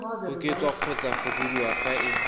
oketswa kgotsa fokodiwa fa e